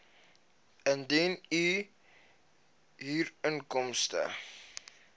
indien u huurinkomste